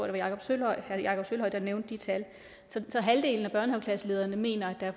jakob sølvhøj der nævnte de tal halvdelen af børnehaveklasselederne mener at der